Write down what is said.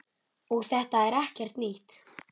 Og þetta er ekkert nýtt.